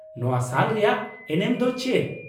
ᱱᱚᱶᱟ ᱥᱟᱞ ᱨᱮᱭᱟᱜ ᱮᱱᱮᱢ ᱫᱚ ᱪᱮᱫ ?